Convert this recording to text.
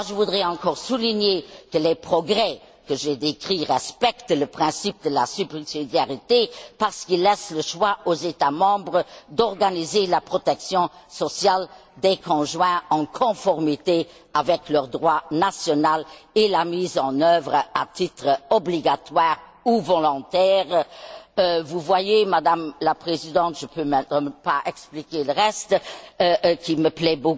Je voudrais encore souligner que les progrès que j'ai décrits respectent le principe de la subsidiarité parce qu'ils laissent le choix aux États membres d'organiser la protection sociale des conjoints, en conformité avec leur droit national, et la mise en œuvre à titre obligatoire ou volontaire. Vous voyez, Madame la Présidente, je n'ai pas le temps de vous expliquer ici tout ce qui me plaît